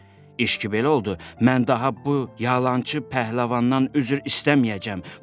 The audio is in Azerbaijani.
İşki belə oldu: mən daha bu yalançı pəhləvandan üzr istəməyəcəm.